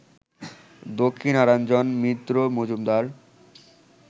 Dakshinaranjan Mitra Majumdar